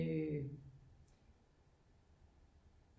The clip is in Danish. Øh